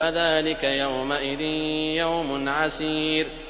فَذَٰلِكَ يَوْمَئِذٍ يَوْمٌ عَسِيرٌ